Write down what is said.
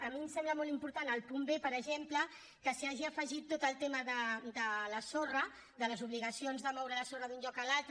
a mi em sembla molt important el punt b per exemple que s’hi hagi afegit tot el tema de la sorra de les obligacions de moure la sorra d’un lloc a l’altre